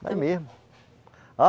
Daí mesmo. A